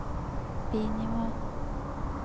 bi-nivå